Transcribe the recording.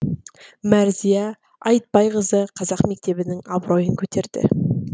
мәрзия айтбайқызы қазақ мектебінің абыройын көтерді